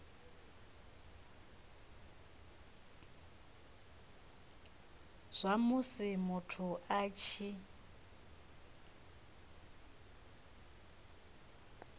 zwa musi muthu a tshi